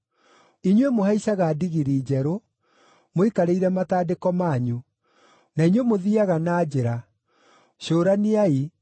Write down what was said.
“Inyuĩ mũhaicaga ndigiri njerũ, mũikarĩire matandĩko manyu, na inyuĩ mũthiiaga na njĩra, cũraniai,